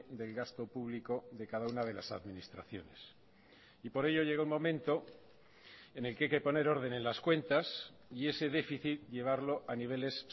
del gasto público de cada una de las administraciones y por ello llega un momento en el que hay que poner orden en las cuentas y ese déficit llevarlo a niveles